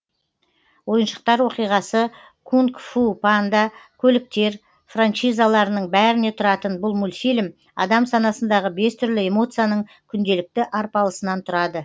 ойыншықтар оқиғасы кунг фу панда көліктер франшизаларының бәріне тұратын бұл мультфильм адам санасындағы бес түрлі эмоцияның күнделікті арпалысынан тұрады